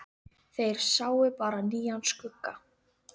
Þeir sáu bara nýjan skugga.